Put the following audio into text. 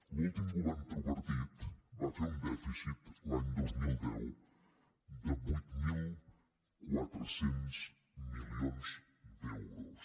l’últim govern tripartit va fer un dèficit l’any dos mil deu de vuit mil quatre cents milions d’euros